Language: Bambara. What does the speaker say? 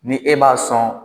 Ni e b'a sɔn